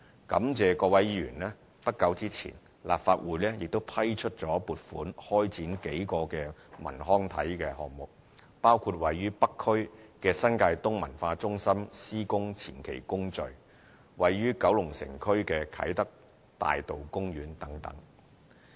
感謝各位議員，不久前立法會亦批出撥款開展數個文康體項目，包括位於北區的新界東文化中心的施工前期工序、位於九龍城區的啟德大道公園等。